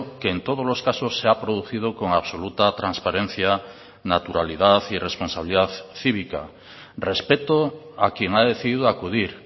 que en todos los casos se ha producido con absoluta transparencia naturalidad y responsabilidad cívica respeto a quien ha decidido acudir